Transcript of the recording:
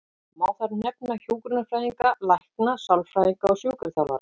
Má þar nefna hjúkrunarfræðinga, lækna, sálfræðinga og sjúkraþjálfara.